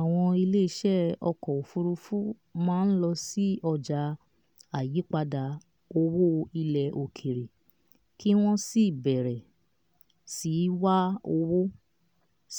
àwọn iléeṣẹ́ ọkọ̀ òfuurufú máa lọ sí ọjà àyípadà owó ilẹ̀ òkèèrè kí wọ́n sì bẹ̀rẹ̀ sí wá owó